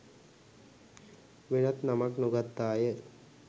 වෙනත් නමක් නොගත්තාය